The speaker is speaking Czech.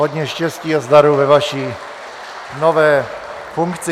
Hodně štěstí a zdaru ve vaší nové funkci.